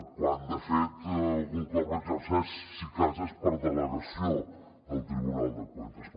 quan de fet algun cop l’exerceix si de cas és per delegació del tribunal de cuentas